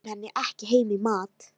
Við bjóðum henni ekki heim í mat.